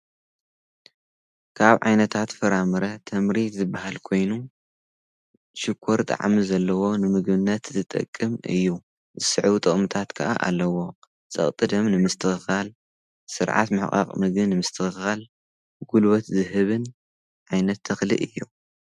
ካብ ዓይነታት ፍራምረ ተምሪ ዝበሃል ኮይኑ ሽኰር ጣዕሚ ዘለዎ ንምግብነት ዝጠቅም እዩ ዝስዕቡ ጥቅምታት ከዓ ኣለዎ ጸቕጢ ደም ንምስትኽኻል ሥርዓት ምሕቓቕ ምግብን ንምስትኽኻል ጕልበት ዝህብን ዓይነት ተኽሊ እዩ።